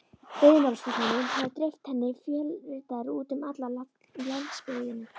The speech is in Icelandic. Veiðimálastofnunin hafði dreift henni fjölritaðri út um alla landsbyggðina.